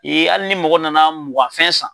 ni ali ni mɔgɔ nana muganfɛn san.